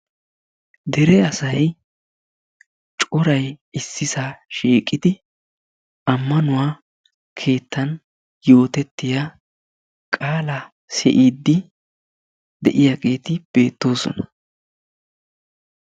Dere asay coray issisaa shiiqidi ammanuwaa keettaan yootettiyaa qaalaa siiyidi de'iyaageti beettoosona.